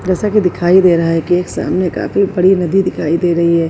जैसा कि दिखाई दे रहा है कि एक सामने काफी बड़ी नदी दिखाई दे रही है।